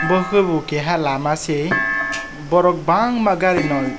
bo ke bo keha lama se borok bangma gari malik.